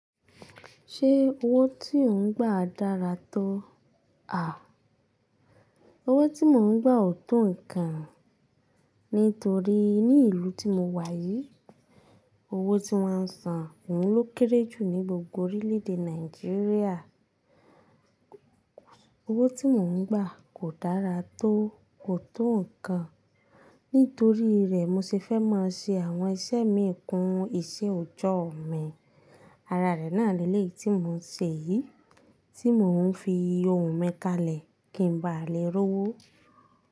Ṣé owó tí ò ń gbà dára tó? Owó tí mò ń gbà ò tó nǹkan nítorí ní ìlú tí mo wà yìí, owó tí wọ́n ń sàn òun lókèérè jù ní gbògbò orílẹ̀èdè Nàìjíríà. Owó tí mò ń gbà kò dára tó, kò tó nǹkan. Nítorí rẹ̀, mo ṣe fẹ́ máa ṣe àwọn iṣẹ́ mi kún iṣẹ́ òjọ́ ọ̀ọ̀ mi. Ara rẹ̀ náà ni ilé tí mò ń ṣe yìí tí mò ń fi òhùn mi kalẹ̀ kí n ba lè rówó.